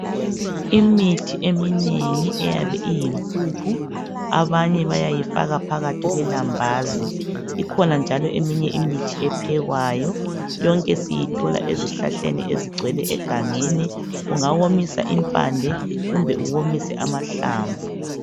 Imithi eminengi eyabe iyimphuphu, abanye bayayifaka phakathi kwelambazi. Ikhona njalo eminye imithi ephekwayo, yonke siyithola ezihlahleni ezigcwele egangeni. Ungawomisa impande kumbe uwomise amahlamvu.